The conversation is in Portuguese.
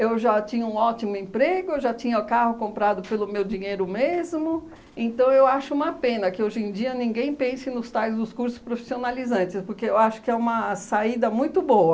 Eu já tinha um ótimo emprego, eu já tinha carro comprado pelo meu dinheiro mesmo, então eu acho uma pena que hoje em dia ninguém pense nos tais dos cursos profissionalizantes, porque eu acho que é uma saída muito boa.